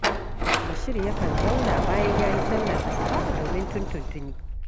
Bashir yakan zauna bayan ya yi sallar Asuba domin tuntuntuni